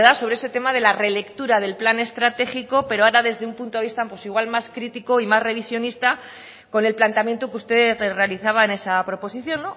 sobre ese tema de la relectura del plan estratégico pero ahora desde un punto de vista pues igual más crítico y más revisionista con el planteamiento que usted realizaba en esa proposición